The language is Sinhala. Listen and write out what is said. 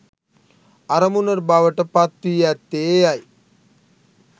අරමුණ බවට පත් වී ඇත්තේ එයයි.